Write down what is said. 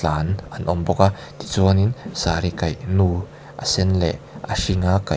an an awm bawk a tichuan in sari kaih nu a sen leh a hring a kaih--